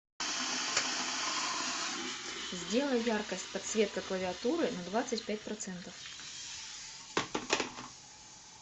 сделай яркость подсветка клавиатуры на двадцать пять процентов